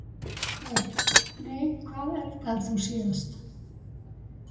Börn: Nei Hvað eldaðir þú síðast?